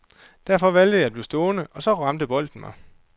Derfor valgte jeg at blive stående, og så ramte bolden mig.